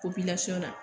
na